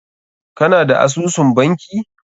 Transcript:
Ka na da asusun banki?